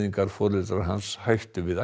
ættleiðingarforeldrar hans hættu við